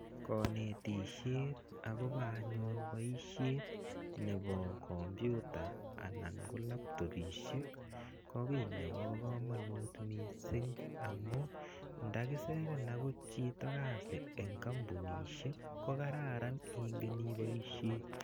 konetishet akopa anyun paishet nepokompyuta ana kolaptopishiek ko kiit nepakamanut mising amuu ndakisiren angot chito eng kampunishek ko kararan ingen ipaishe.